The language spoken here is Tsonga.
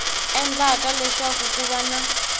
endlaka leswaku ku va na